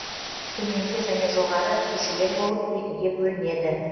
төменгі және жоғары көшелер болып екіге бөлінеді